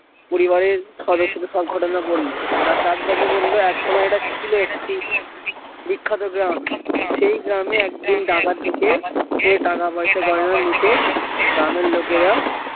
পরিবারের সদরস্যদের সব ঘটনা বললো। তার দাদু তাকে বললো এক সময় এটা ছিল একটি বিখ্যাত গ্রাম এই গ্রামে একদিন ডাকাত ঢুকে টাকা পয়সা লুটে গ্রামের লোকেরা